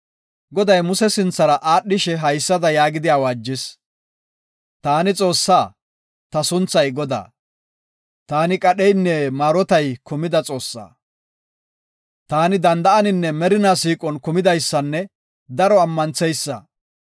Goday Muse sinthara aadhishe haysada yaagidi awaajis; “Taani Xoossaa, ta sunthay Godaa. Taani, qadheynne maarotay kumida Xoossaa. Taani danda7aninne merina siiqon kumidaysanne daro ammantheysa.